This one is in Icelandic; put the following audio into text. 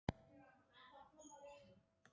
Það var komin hæg sunnan gola.